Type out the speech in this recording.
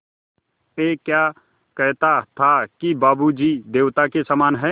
ऐं क्या कहता था कि बाबू जी देवता के समान हैं